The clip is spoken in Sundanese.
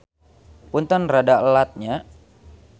Punten rada elat nya.